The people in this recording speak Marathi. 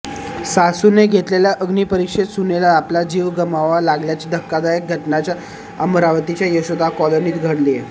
सासूने घेतलेल्या अग्निपरिक्षेत सुनेला आपला जीव गमवावा लागल्याची धक्कादायक घटना अमरावतीच्या यशोदा कॉलनीत घडलीय